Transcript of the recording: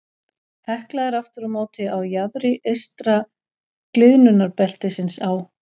Hekla er aftur á móti á jaðri eystra gliðnunarbeltisins á